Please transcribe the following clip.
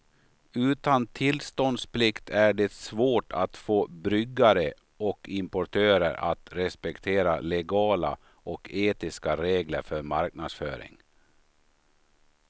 Utan tillståndsplikt är det svårt att få bryggare och importörer att respektera legala och etiska regler för marknadsföring.